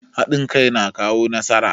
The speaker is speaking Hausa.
Hadin kai na kawo nasara.